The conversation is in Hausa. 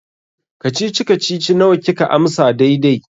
Kacici-kacici nawa kika amsa daidai?